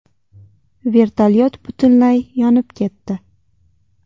Vertolyot butunlay yonib ketdi.